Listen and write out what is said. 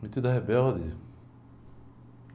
Metidos a rebeldes.